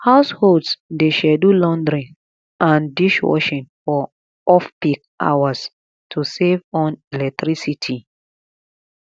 households dey schedule laundry and dishwashing for offpeak hours to save on electricity